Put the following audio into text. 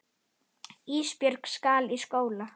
Ísbjörg skal í skóla.